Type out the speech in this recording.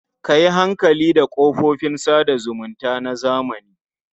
Ka yi hankali da kafofin sa da zumunta na zamani.